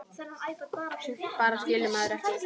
Sumt bara skilur maður ekki.